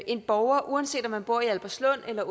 en borger uanset om man bor i albertslund eller